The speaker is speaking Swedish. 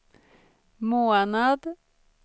månad